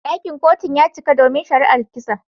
Dakin Kotun ya cika domin shari'an kisan.